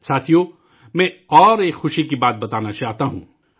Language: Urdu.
ساتھیو ، میں ایک اور خوشی کی بات بتانا چاہتا ہوں